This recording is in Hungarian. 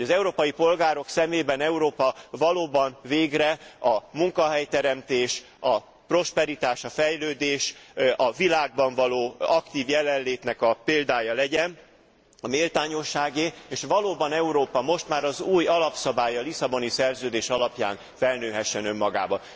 Hogy az európai polgárok szemében Európa valóban végre a munkahelyteremtés, a prosperitás, a fejlődés, a világban való aktív jelenlét példája legyen, a méltányosságé és valóban Európa most már az új alapszabály, a Lisszaboni Szerződés alapján felnőhessen önmagához.